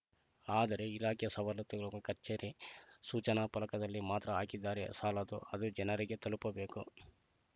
ಆದರೆ ಇಲಾಖೆ ಸವಲತ್ತುಗಳ ಕಚೇರಿ ಸೂಚನಾ ಫಲಕದಲ್ಲಿ ಮಾತ್ರ ಹಾಕಿದರೆ ಸಾಲದು ಅದು ಜನರಿಗೆ ತಲುಪಬೇಕು